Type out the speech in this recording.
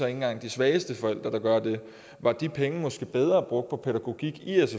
engang de svageste forældre der gør det var de penge måske bedre brugt på pædagogik i